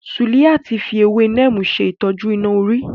Suliat fi ewé Neem ṣè tọ́jú iná orí.